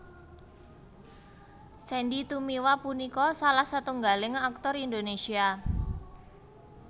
Sandy Tumiwa punika salah setunggaling aktor Indonésia